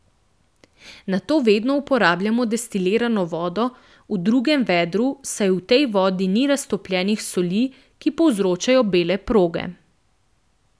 Nato vedno uporabljam destilirano vodo v drugem vedru, saj v tej vodi ni raztopljenih soli, ki povzročajo bele proge.